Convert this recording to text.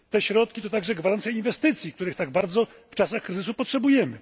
Te środki to także gwarancja inwestycji, których tak bardzo w czasach kryzysu potrzebujemy.